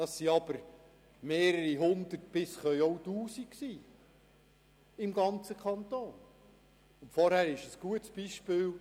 Es sind mehrere Hundert, es können aber im ganzen Kanton auch bis zu Tausend sein.